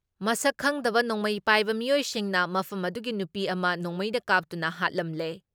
ꯃꯁꯛ ꯈꯪꯗꯕ ꯅꯣꯡꯃꯩ ꯄꯥꯏꯕ ꯃꯤꯑꯣꯏꯁꯤꯡꯅ ꯃꯐꯝ ꯑꯗꯨꯒꯤ ꯅꯨꯄꯤ ꯑꯃ ꯅꯣꯡꯃꯩꯅ ꯀꯥꯞꯇꯨꯅ ꯍꯥꯠꯂꯝꯂꯦ ꯫꯫